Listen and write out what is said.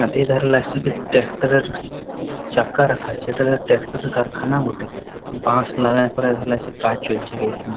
আর এধারে লাগছে কি ট্র্যাক্টর -এর চাকা রাখা আছে | এইটারে ট্র্যাকটর -এর কারখানা বটে। বাঁশ লাগায় পরে কাজ এসে চলছে এইখানে।